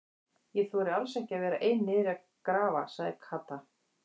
Ég þori alls ekki að vera ein niðri að grafa sagði Kata.